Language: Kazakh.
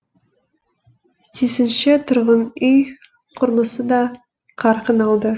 тисінше тұрғын үй құрылысы да қарқын алды